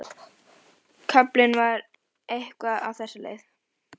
Kaflinn var eitthvað á þessa leið: